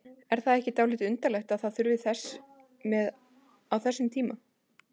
Er það ekki dálítið undarlegt að það þurfi þess með á þessum tíma?